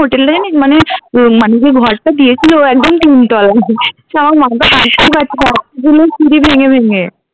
hotel টা জানিস মানে ওই মানে যে ঘরটা দিয়েছে ও একদম তিনতলায় সিঁড়ি ভেঙে ভেঙে